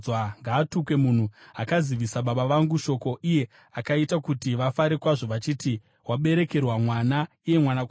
Ngaatukwe munhu akazivisa baba vangu shoko, iye akaita kuti vafare kwazvo, achiti, “Waberekerwa mwana, iye mwanakomana!”